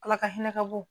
Ala ka hinɛ ka bon